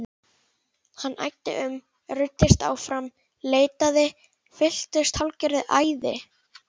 Hann æddi um, ruddist áfram, leitaði, fylltist hálfgerðu æði.